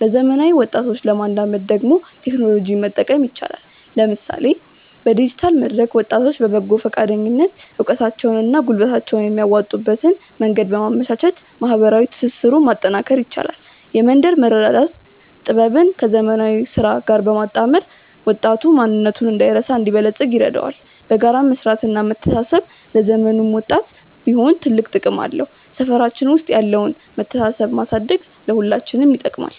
ለዘመናዊ ወጣቶች ለማላመድ ደግሞ ቴክኖሎጂን መጠቀም ይቻላል፤ ለምሳሌ በዲጂታል መድረክ ወጣቶች በፈቃደኝነት እውቀታቸውንና ጉልበታቸውን የሚያዋጡበትን መንገድ በማመቻቸት ማህበራዊ ትስስሩን ማጠናከር ይቻላል። የመንደር መረዳዳት ጥበብን ከዘመናዊ ስራ ጋር ማጣመር ወጣቱ ማንነቱን ሳይረሳ እንዲበለጽግ ይረዳዋል። በጋራ መስራትና መተሳሰብ ለዘመኑም ወጣት ቢሆን ትልቅ ጥቅም አለው። ሰፈራችን ውስጥ ያለውን መተሳሰብ ማሳደግ ለሁላችንም ይጠቅማል።